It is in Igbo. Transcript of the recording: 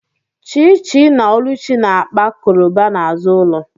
Chichi na oluchi na-akpa koroba n’azụ ụlọ